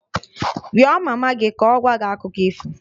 Rịọ mama gị ka ọ gwa gị Akụkọ ifo!